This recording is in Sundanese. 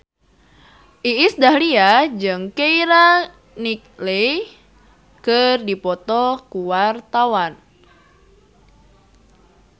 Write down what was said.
Iis Dahlia jeung Keira Knightley keur dipoto ku wartawan